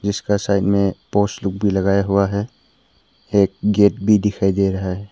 जिसका साइड में पोस लोग भी लगाया हुआ है एक गेट भी दिखाई दे रहा है।